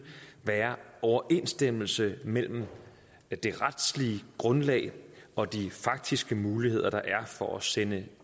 være overensstemmelse mellem det retslige grundlag og de faktiske muligheder der er for at sende